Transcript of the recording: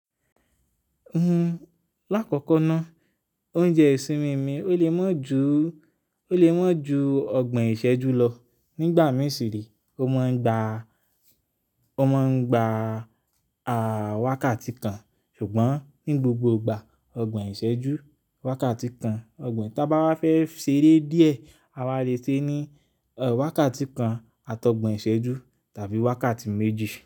N- lákọ̀kọ̀ ná, oúnjẹ ìsinmi mi ó lè mọ̀ ju, ó lè maa ju ọgbọ̀n ìṣẹ́jú lọ. Nígbà mì si re, ó maa ń gba, ó maa ń gba, à, wákàtí kan. Ṣùgbọ́n ní gbogbo gbà, ọgbọ̀n ìṣẹ́jú, wákàtí kan. Ọgbọ̀n, tí bá wá fẹ́ ṣeré díẹ̀, a wá le sẹ́ ni, wákàtí kan àti ọgbọ̀n ìṣẹ́jú tàbí wákàtí méjì.